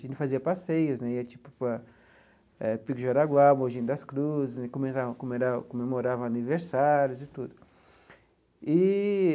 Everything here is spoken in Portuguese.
A gente fazia passeios né, ia tipo para eh Pico do Jaraguá, Moji das Cruzes, começava comerava comemorava aniversários e tudo eee.